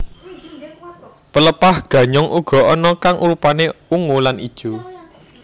Pelepah ganyong uga ana kang rupané ungu lan ijo